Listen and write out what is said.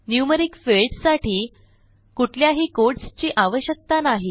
numeric fields साठी कुठल्याही quotes ची आवश्यकता नाही